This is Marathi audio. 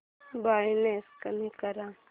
ब्राईटनेस कमी कर